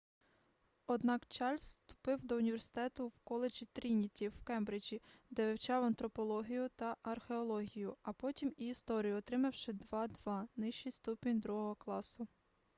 однак чарльз вступив до університету в коледжі трініті в кембриджі де вивчав антропологію та археологію а потім і історію отримавши 2:2 нижчий ступінь другого класу